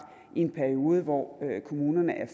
i en periode hvor kommunerne